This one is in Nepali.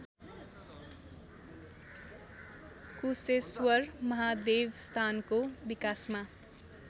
कुशेश्वर महादेवस्थानको विकासमा